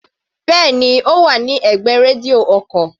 Bẹ́ẹ̀ni, Ó wà ní ẹ̀gbẹ́ rédíò ọkò.